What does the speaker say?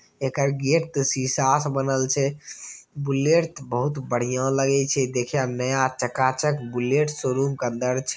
एकर gate ते शीशा से बनल छै बुलेट ते बहुत बढ़िया लगे छै देखे मे नया चकाचक बुलेट शोरूम के अंदर छै।